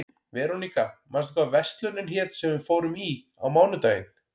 Veróníka, manstu hvað verslunin hét sem við fórum í á mánudaginn?